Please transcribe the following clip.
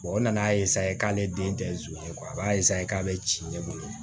o nana k'ale den tɛ a b'a k'a bɛ ci ne bolo